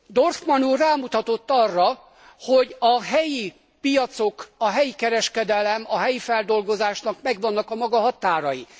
Dorfmann úr rámutatott arra, hogy a helyi piacoknak, a helyi kereskedelemnek, a helyi feldolgozásnak megvannak a maga határai.